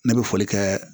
Ne bɛ foli kɛ